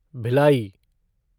Bhilai